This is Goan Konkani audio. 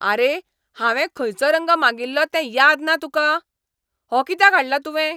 आरे, हांवें खंयचो रंग मागिल्लो तें याद ना तुका? हो कित्याक हाडला तुवें ?